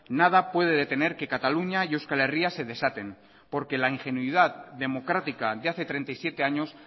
nada puede detener que cataluña y euskal herria se desaten porque la ingenuidad democrática de hace treinta y siete años